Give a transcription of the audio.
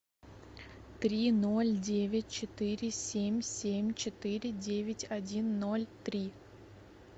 три ноль девять четыре семь семь четыре девять один ноль три